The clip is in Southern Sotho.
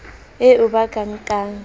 eo ba ka e nkang